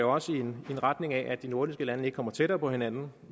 også i en retning af at de nordiske lande ikke kommer tættere på hinanden